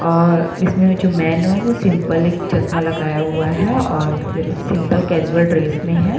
और इसमें जो मैन है वो सिंपल एक चश्मा लगाया हुआ है और सिंपल कैज़ुअल ड्रेस में है।